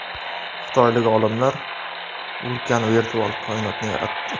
Xitoylik olimlar ulkan virtual koinotni yaratdi.